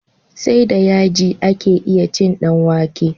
Sai da yaji ake iya cin dan wake